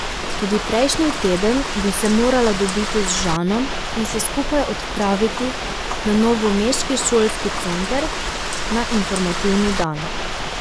Tudi prejšnji teden bi se morala dobiti z Žanom in se skupaj odpraviti na novomeški šolski center na informativni dan.